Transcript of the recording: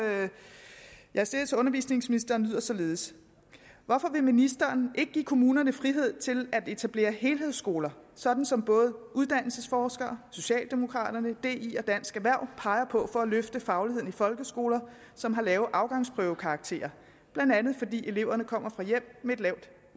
jeg har stillet til undervisningsministeren lyder således hvorfor vil ministeren ikke give kommunerne frihed til at etablere helhedsskoler sådan som både uddannelsesforskere socialdemokraterne di og dansk erhverv peger på for at løfte fagligheden i folkeskoler som har lave afgangsprøvekarakterer blandt andet fordi eleverne kommer fra hjem med et lavt